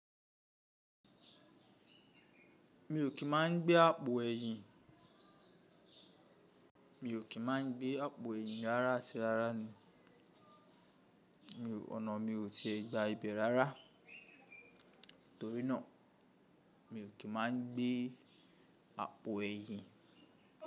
Mi ò kí máa ń gbé àpò ẹ̀yìn. Mi ò kí máa ń gbé àpò ẹ̀yìn rárá ati rárá ni. Ọ̀nà mi ò ti gba ibẹ̀ rárá torí náà mi ò kí máa ń gbé àpò ẹ̀yìn.